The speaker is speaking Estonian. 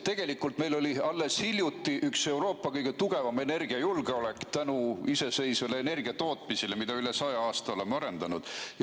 Tegelikult oli meil alles hiljuti üks Euroopa kõige tugevam energiajulgeolek tänu iseseisvale energiatootmisele, mida me üle saja aasta oleme arendanud.